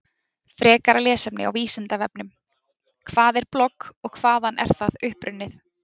Frekara lesefni á Vísindavefnum: Hvað er blogg og hvaðan er það upprunnið?